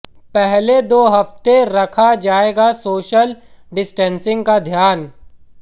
पहले दो हफ्ते रखा जाएगा सोशल डिस्टेंसिंग का ध्यान